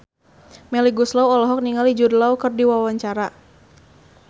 Melly Goeslaw olohok ningali Jude Law keur diwawancara